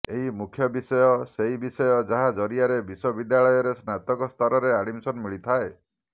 ଏହି ମୁଖ୍ୟ ବିଷୟ ସେହି ବିଷୟ ଯାହା ଜରିଆରେ ବିଶ୍ୱବିଦ୍ୟାଳୟରେ ସ୍ନାତକ ସ୍ତରରେ ଆଡମିଶନ ମିଳିଥାଏ